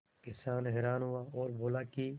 किसान हैरान हुआ और बोला कि